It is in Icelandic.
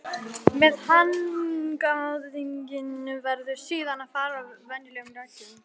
Með hagnaðinn verður síðan að fara eftir venjulegum reglum.